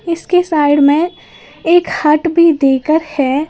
इसके साइड में एक हट भी देकर है।